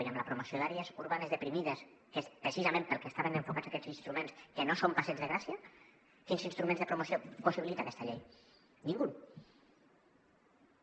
i amb la promoció d’àrees urbanes deprimides que és precisament per al que estaven enfocats aquests instruments que no són al passeig de gràcia quins instruments de promoció possibilita aquesta llei cap